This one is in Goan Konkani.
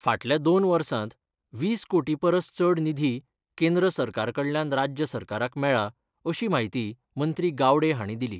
फाटल्या दोन वर्सांत वीस कोटी परस चड निधी केंद्र सरकाराकडल्यान राज्य सरकारक मेळ्ळा अशी म्हायती मंत्री गावडे हांणी दिली.